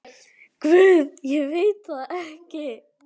Guð, ég veit það ekki.